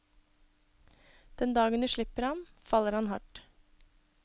Den dagen du slipper ham, faller han hardt.